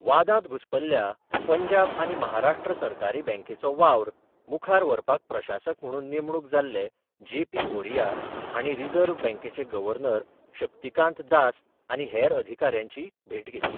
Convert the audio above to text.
वादांत घुस्पल्ल्या पंजाब आनी महाराष्ट्र सहकारी बँकेचो वावर मुखार व्हरपाक प्रशासक म्हणून नेमणूक जाल्ले जेपी भोरिया हांणी रिजर्व्ह बँकेचे गर्वनर शक्तीकांत दास आनी हेर अधिकाऱ्यांची भेट घेतली.